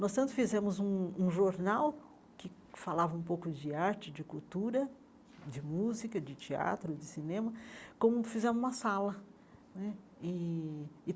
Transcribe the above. Nós tanto fizemos um um jornal que falava um pouco de arte, de cultura, de música, de teatro, de cinema, como fizemos uma sala né e.